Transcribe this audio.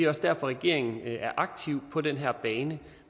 også derfor regeringen er aktiv på den her bane